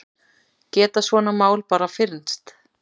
Geta svona mál bara fyrnst?